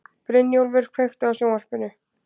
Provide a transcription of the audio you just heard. Brynjúlfur, kveiktu á sjónvarpinu.